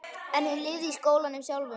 En hún lifði í skólanum sjálfum.